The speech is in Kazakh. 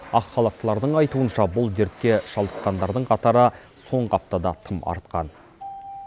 ақ халаттылардың айтуынша бұл дертке шалдыққандардың қатары соңғы аптада тым артқан